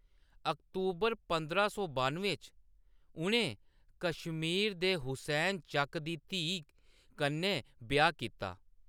अक्तूबर पंदरां सौ बानुएं च, उʼनें कश्मीर दे हुसैन चक दी धीऽ कन्नै ब्याह्‌‌ कीता।